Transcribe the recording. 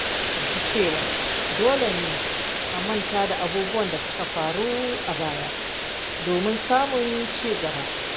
Na fahimci cewa dole ne a manta da abubuwan da suka faru a baya domin samun ci gaba.